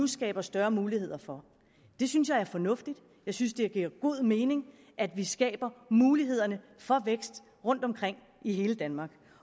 skaber større muligheder for det synes jeg er fornuftigt jeg synes det giver god mening at vi skaber muligheder for vækst rundtomkring i hele danmark